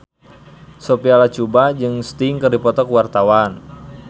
Sophia Latjuba jeung Sting keur dipoto ku wartawan